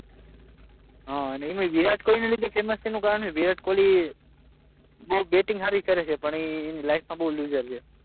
હા એમાય વિરાટ કોહલી ફેમસ છે એનું કારણ છે વિરાટ કોહલી બહુ બેટિંગ સારી કરે છે પણ એની લાઇફમાં બહુ લુઝર છે